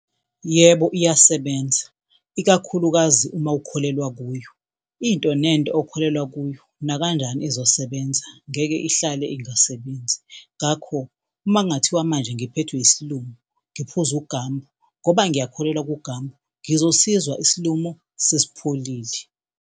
Yebo, iyasebenza, ikakhulukazi uma ukholelwa kuyo. Into nento okholelwa kuyo nakanjani izosebenza ngeke ihlale ingasebenzi. Ngakho uma kungathiwa manje ngiphethwe isilumo ngiphuze uGambu, ngoba ngiyakholelwa kuGambu ngizosizwa isilumo sesipholile.